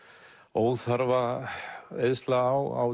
óþarfa eyðsla á